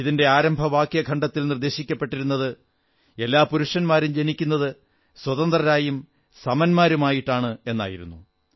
ഇതിന്റെ ആരംഭവാക്യഖണ്ഡത്തിൽ നിർദ്ദേശിക്കപ്പെട്ടിരുന്നത് എല്ലാ പുരുഷന്മാരും ജനിക്കുന്നത് സ്വതന്ത്രരായും സമത്വമുള്ളവരായുമാണെന്നായിരുന്നു